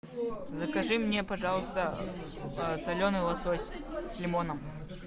закажи мне пожалуйста соленый лосось с лимоном